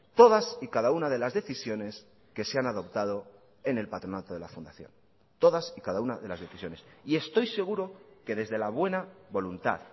todas y cada una de las decisiones que se han adoptado en el patronato de la fundación todas y cada una de las decisiones y estoy seguro que desde la buena voluntad